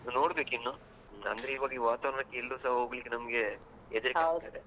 ನೋಡ್ಬೇಕು ಇನ್ನು ಅಂದ್ರೆ ಇವಾಗ ವಾತಾವರಣಕ್ಕೆ ಎಲ್ಲುಸ ಹೋಗ್ಲಿಕೆ ನಮ್ಗೆ ಹೆದರಿಕೆ ಆಗ್ತದೆ.